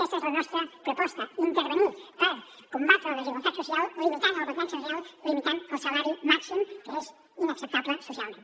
aquesta és la nostra proposta intervenir per combatre la desigualtat social limitant el ventall salarial limitant el salari màxim que és inacceptable socialment